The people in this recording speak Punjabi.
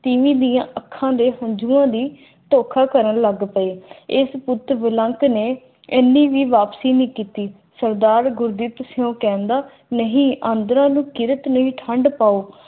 ਤੀਵੀਂ ਦੀਆਂ ਅੱਖਾਂ ਦੇ ਹੰਝੂਆਂ ਦੀ ਧੋਖਾ ਕਰਨ ਲੱਗ ਪਏ ਏਨੀ ਵੀ ਵਾਪਸੀ ਨੇ ਕੀਤੀ ਸਰਦਾਰ ਗੁਰਦਿੱਤ ਸਿੰਘ ਕਹਿੰਦਾ ਨਹੀਂ ਆਂਦਰਾਂ ਨੂੰ ਕਿਰਤ ਲੇਖ ਹਟਾਓ